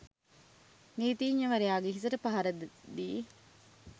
නීතිඥවරයාගේ හිසට පහර ද දී